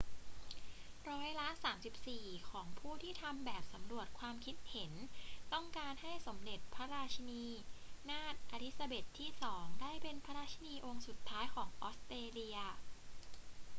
ร้อยละ 34 ของผู้ที่ทำแบบสำรวจความคิดเห็นต้องการให้สมเด็จพระราชินีนาถเอลิซาเบธที่ 2 ได้เป็นราชินีองค์สุดท้ายของออสเตรเลีย